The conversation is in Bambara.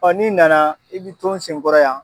Ɔ n'i nana, i bɛ ton n sen kɔrɔ yan.